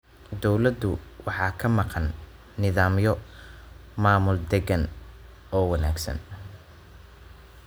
Dawladdu waxaa ka maqan nidaamyo maamul deegaan oo wanaagsan.